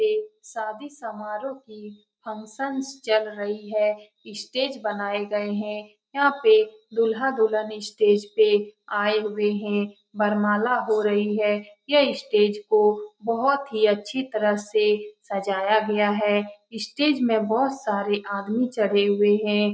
पे शादी समोराह की फंक्शनस चल रही है स्टेज बनाये गए है यहाँ पे दूल्हा दुल्हन स्टेज पे आये हुए है वरमाला हो रही है यह स्टेज को बहुत ही अच्छी तरह से सजाया गया है स्टेज में बहुत सारे आदमी चढ़े हुए है।